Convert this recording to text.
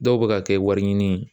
Dɔw bɛ ka kɛ wari ɲini